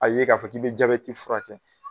A ye k'a fɔ k'i bɛ jabeti fura kɛ.